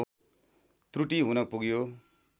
त्रुटि हुन पुग्यो